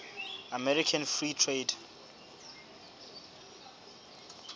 american free trade